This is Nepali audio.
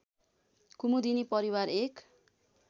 कुमुदिनी परिवार एक